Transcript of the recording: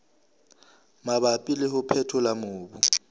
mabapi le ho phethola mobu